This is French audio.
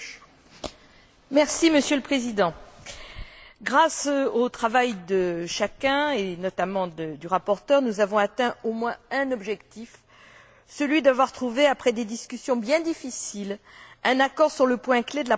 Monsieur le Président, grâce au travail de chacun et notamment du rapporteur, nous avons atteint au moins un objectif celui d'avoir trouvé, après des discussions bien difficiles, un accord sur le point clé de la procédure d'autorisation.